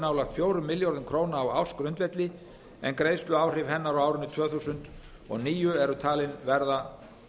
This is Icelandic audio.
nálægt fjórum milljörðum króna á ársgrundvelli en greiðsluáhrif hennar á árinu tvö þúsund og níu eru talin verða